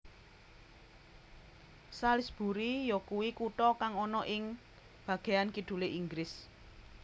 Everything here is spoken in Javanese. Salisbury yakuwi kutha kang ana ing bageyan kidulé Inggris